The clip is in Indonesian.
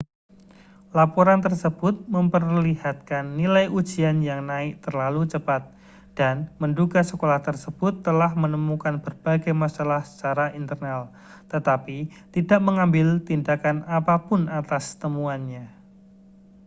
laporan tersebut memperlihatkan nilai ujian yang naik terlalu cepat dan menduga sekolah tersebut telah menemukan berbagai masalah secara internal tetapi tidak mengambil tindakan apa pun atas temuannya